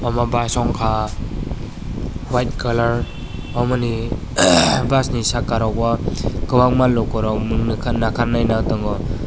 amo bus o wngkha white colour amoni bus ni saka rogo kobangma lokorok monolakarino tongo.